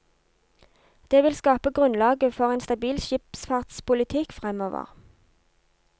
Det vil skape grunnlaget for en stabil skipsfartspolitikk fremover.